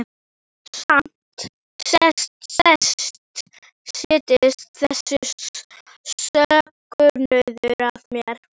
Og samt settist þessi söknuður að mér.